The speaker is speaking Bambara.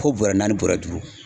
Ko bɔrɛ naani bɔrɛ duuru.